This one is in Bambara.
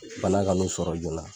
Bana ka n'u sɔrɔ joona.